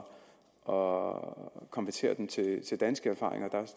og konvertere dem til til danske erfaringer der